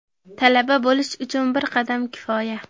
Talaba bo‘lish uchun bir qadam kifoya!.